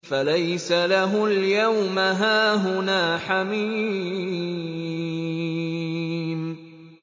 فَلَيْسَ لَهُ الْيَوْمَ هَاهُنَا حَمِيمٌ